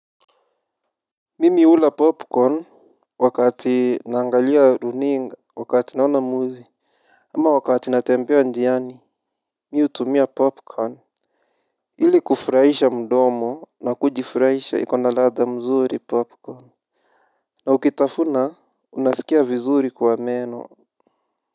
Mimi hula popcorn wakati naangalia runinga wakati naona movie. Ama wakati natembea njiani mi hutumia popcorn ili kufurahisha mdomo na kujifurahisha iko na ladha mzuri popcorn. Na ukitafuna unasikia vizuri kwa meno.